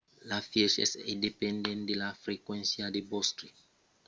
l'efièch es dependent de la frequéncia de vòstre cervèl per temptar de somiar lucidament cada nuèch